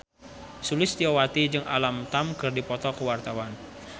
Sulistyowati jeung Alam Tam keur dipoto ku wartawan